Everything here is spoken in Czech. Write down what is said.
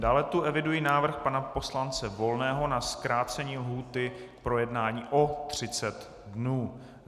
Dále tu eviduji návrh pana poslance Volného na zkrácení lhůty k projednání o 30 dnů.